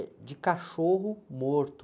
É de cachorro morto.